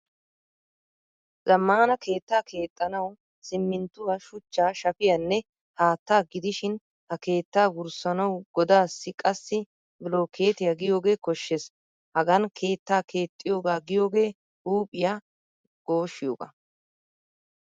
Zamaana keettaa keexanawu siminttuwaa, shuchchaa, shaafiyaanne haattaa gidihsin ha keetta wurssanawu godassi qassi bilokettiyaa giyogee koshshees. Hagaan keettaa keexiyoga giyoge huuphphiya gooshshiyoga.